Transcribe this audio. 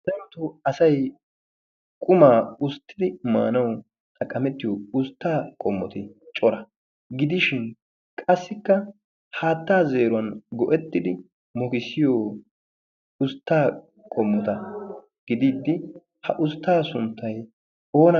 darotoo asay qumaa ussitidi maanawu xaqqametiyoo usttaa qommoti cora. qassikka haattaa zeeriwaan go"ettidi mokissiyoo usttaa qommoota gidiidi ha usttaa sunttay oonna geettettii?